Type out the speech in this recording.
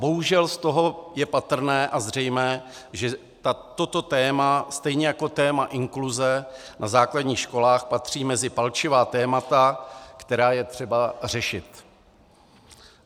Bohužel z toho je patrné a zřejmé, že toto téma stejně jako téma inkluze na základních školách patří mezi palčivá témata, která je třeba řešit.